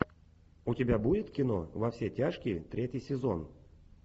у тебя будет кино во все тяжкие третий сезон